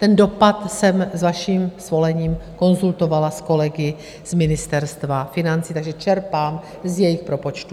Ten dopad jsem s vaším svolením konzultovala s kolegy z Ministerstva financí, takže čerpám z jejich propočtu.